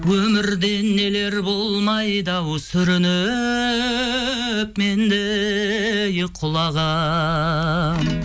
өмірде нелер болмайды ау сүрініп мен де ей құлағам